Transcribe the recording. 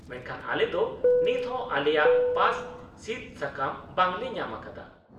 -ᱢᱮᱱᱠᱷᱟᱱ ᱟᱞᱮ ᱫᱚ ᱱᱤᱛᱦᱚᱸ ᱟᱞᱮᱭᱟᱜ ᱯᱟᱥ ᱥᱤᱫᱥᱟᱠᱟᱢ ᱵᱟᱝᱞᱮ ᱧᱟᱢ ᱟᱠᱟᱫᱟ ᱾